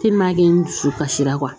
n dusu kasira